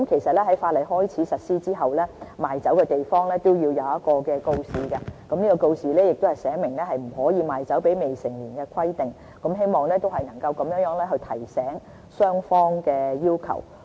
在法例開始實施後，賣酒地方必須展示一個告示，寫明不可以賣酒給未成年人士的規定，希望以此提醒雙方有關法例的要求。